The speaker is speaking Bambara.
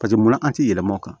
Paseke munna an ti yɛlɛm'o kan